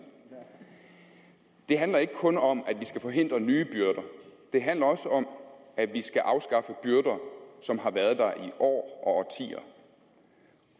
det handler ikke kun om at vi skal forhindre nye byrder det handler også om at vi skal afskaffe byrder som har været der i år